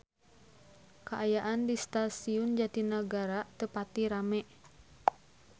Kaayaan di Stasiun Jatinegara teu pati rame